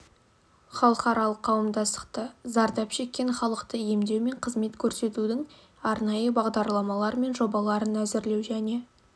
халықаралық қауымдастықты зардап шеккен халықты емдеу мен қызмет көрсетудің арнайы бағдарламалар мен жобаларын әзірлеу және